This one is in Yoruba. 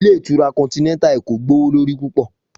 Ilé ìtura continental Eko jẹ gbowolori pupọ